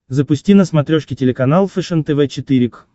запусти на смотрешке телеканал фэшен тв четыре к